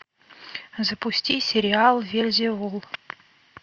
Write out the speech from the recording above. запусти сериал вельзевул